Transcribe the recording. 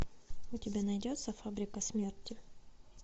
у тебя найдется фабрика смерти